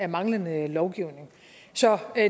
manglende lovgivning så